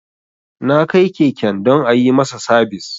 Na kai keken don a yi masa sabis